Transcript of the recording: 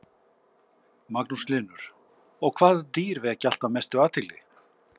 Magnús Hlynur: Og hvaða dýr vekja alltaf mestu athygli?